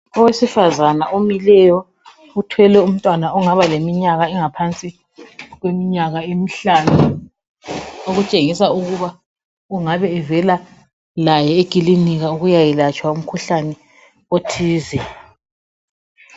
Owesifazana omileyo uthwele umntwana ongabaleminyaka engaphansi kweminyaka emihlanu okutshengisa ukuba engabe evela laye ekilinika ukuyayelatshwa umkhuhlane othize.